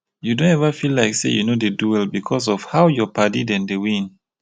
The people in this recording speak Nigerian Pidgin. you don eva feel like sey you no dey do well because of how your padi dem dey win?